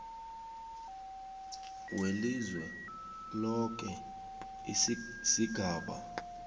welizwe loke sigaba